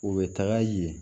U bɛ taga yen